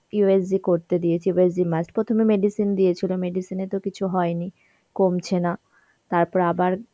USGকরতে দিয়েছে USGmust প্রথমে medicine দিয়েছিল, medicine এতো কিছু হয়নি, কমছে না তারপরে আবার